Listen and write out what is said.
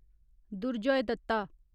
Durjoy Dutta